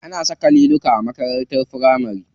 Ana saka liluka a makarantar firamari.